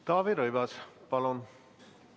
Taavi Rõivas, palun!